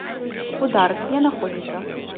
удар где находится